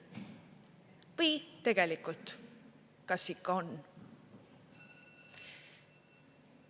Või tegelikult, kas ikka on?